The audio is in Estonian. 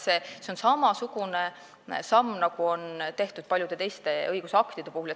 See on samasugune samm, nagu on tehtud paljude teiste õigusaktide puhul.